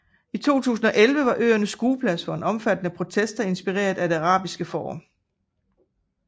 I 2011 var øerne skueplads for omfattende protester inspireret af Det Arabiske Forår